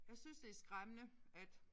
Jeg synes det skræmmende at